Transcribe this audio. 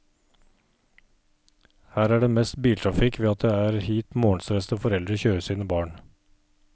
Her er det mest biltrafikk ved at det er hit morgenstressede foreldre kjører sine barn.